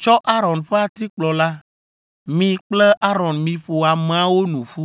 “Tsɔ Aron ƒe atikplɔ la. Mi kple Aron miƒo ameawo nu ƒu.